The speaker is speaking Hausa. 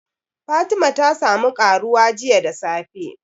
Fatima ta sa mu ƙaruwa jiya da safe